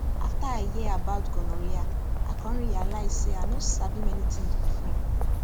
after i hear about gonorrhea i come realize say i no sabi many things before